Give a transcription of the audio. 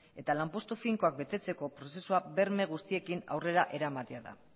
eta lanpostu finkoak betetzeko prozesua berme guztiekin aurrera eramatea da